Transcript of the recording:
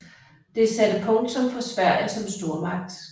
Det satte punktum for Sverige som stormagt